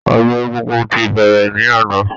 Ọdún egúngún ti bẹrẹ ní àná